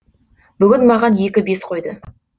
бүгін маған екі бес қойды